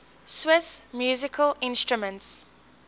swiss musical instruments